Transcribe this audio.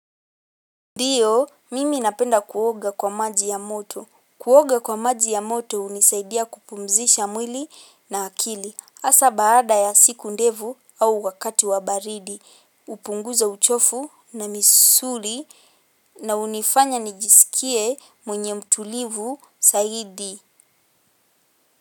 Ndiyo, mimi napenda kuoga kwa maji ya moto. Kuoga kwa maji ya moto unisaidia kupumzisha mwili na akili. Asa baada ya siku ndevu au wakati wa baridi. Upunguza uchofu na misuri na unifanya nijisikie mwenye mtulivu saidi.